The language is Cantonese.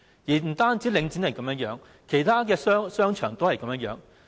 不單領展是這樣，其他商場同樣如此。